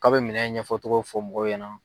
K'a bɛ minɛn ɲɛfɔcogo fɔ mɔgɔw ɲɛna.